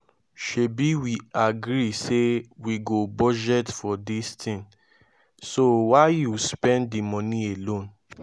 shebi we agree say we go budget for dis thing so why you spend the money alone